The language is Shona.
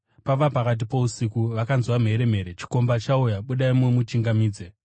“Pava pakati pousiku vakanzwa mheremhere: ‘Chikomba chauya! Budai mumuchingamidze!’